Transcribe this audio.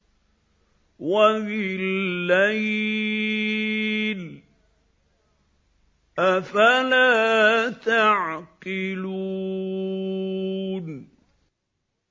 وَبِاللَّيْلِ ۗ أَفَلَا تَعْقِلُونَ